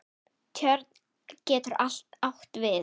Tjörn getur átt við